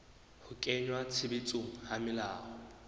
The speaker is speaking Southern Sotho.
ho kenngwa tshebetsong ha melao